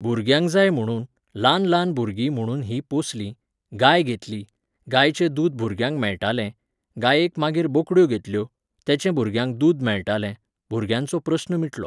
भुरग्यांक जाय म्हुणून, ल्हान ल्हान भुरगीं म्हुणून हीं पोंसलीं, गाय घेतली, गायचें दूद भुरग्यांक मेळटालें, गायेंक मागीर बोकड्यो घेतल्यो, तेंचें भुरग्यांक दूद मेळटालें, भुरग्यांचो प्रस्न मिटलो